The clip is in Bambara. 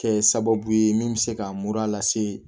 Kɛ sababu ye min bɛ se ka mura lase